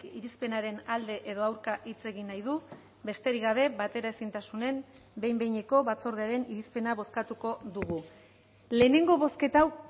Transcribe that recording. irizpenaren alde edo aurka hitz egin nahi du besterik gabe bateraezintasunen behin behineko batzordearen irizpena bozkatuko dugu lehenengo bozketa hau